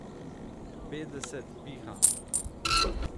Petdeset piha!